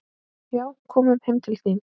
Já, komum heim til þín.